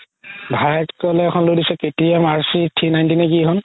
ভাইয়েকতো লে লৈ দিছে কে তি য়াম RC three ninety নে কি এইখন